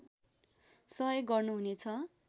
सहयोग गर्नुहुनेछ